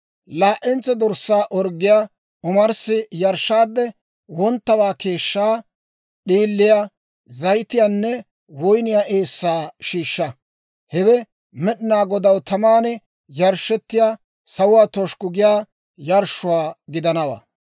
Laa"entso dorssaa orggiyaa omarssi yarshshaadde wonttawaa keeshshaa, d'iiliyaa, zayitiyaanne woyniyaa eessaa shiishsha. Hewe Med'inaa Godaw taman yarshshettiyaa, sawuwaa toshikku giyaa yarshshuwaa gidanawaa.